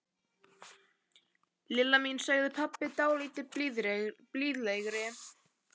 Lilla mín sagði pabbi dálítið blíðlegri.